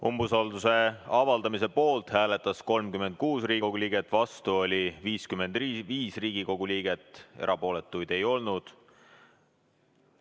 Umbusalduse avaldamise poolt hääletas 36 Riigikogu liiget, vastu oli 55 Riigikogu liiget, erapooletuid ei olnud.